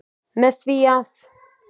Með því að.